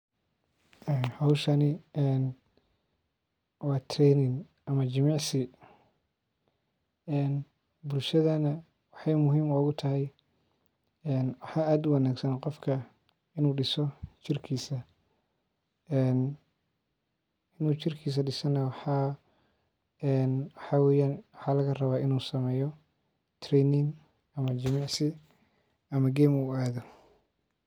Hooshani waa training ama jimici ee bulshada waxey muhiim ogutahy waxaa aad uwanaagsan dadk inuu jirkiisa diso. inuun jirkisa diso waxaa lagaraba training ama jimici ama jiim inuu aadho.